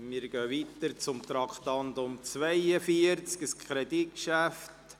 Wir kommen zum Traktandum 42, zum Kreditgeschäft: